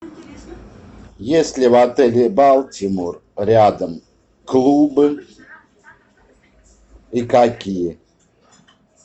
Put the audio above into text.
есть ли в отеле балтимор рядом клубы и какие